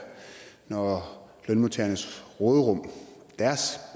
når lønmodtagernes råderum deres